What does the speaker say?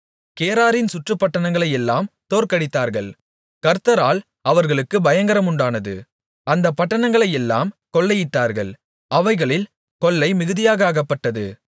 கேராரின் சுற்றுப்பட்டணங்களையெல்லாம் தோற்கடித்தார்கள் கர்த்தரால் அவர்களுக்குப் பயங்கரம் உண்டானது அந்தப் பட்டணங்களையெல்லாம் கொள்ளையிட்டார்கள் அவைகளில் கொள்ளை மிகுதியாக அகப்பட்டது